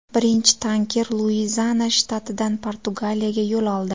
Birinchi tanker Luiziana shtatidan Portugaliyaga yo‘l oldi.